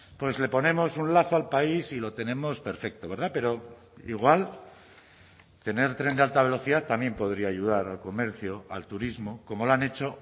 pues le ponemos un lazo al país y lo tenemos perfecto verdad pero igual tener tren de alta velocidad también podría ayudar al comercio al turismo como lo han hecho